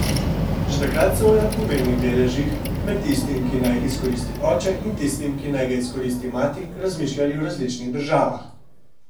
Že takrat so o enakomernih deležih, med tistim, ki naj ga izkoristi oče, in tistim, ki naj ga izkoristi mati, razmišljali v različnih državah.